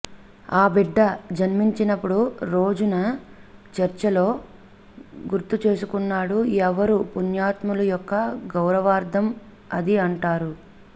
ఆ బిడ్డ జన్మించినప్పుడు రోజున చర్చిలో గుర్తుచేసుకున్నాడు ఎవరు పుణ్యాత్ముల యొక్క గౌరవార్ధం అది అంటారు